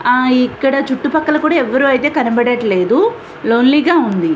ఆ ఇక్కడ చుటుపక్కల కూడా ఎవరు ఐతే కనబడట్లేదు లోన్లీ గా ఉంది.